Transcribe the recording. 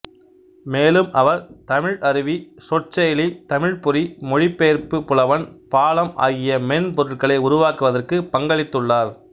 மேலும் அவர் தமிழ் அருவி சொற்செயலி தமிழ்ப் பொறி மொழிபெயர்ப்பி புலவன் பாலம் ஆகிய மென்பொருட்களை உருவாக்குவதற்கு பங்களித்துள்ளார்